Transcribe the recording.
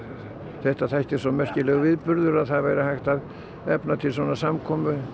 þetta þætti svona merkilegur viðburður að það væri hægt að efna til svona samkomu